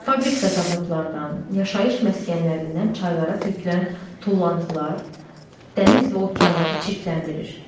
Fabrik və zavodlardan, yaşayış məskənlərindən çaylara tökülən tullantılar dəniz və okeanları çirkləndirir.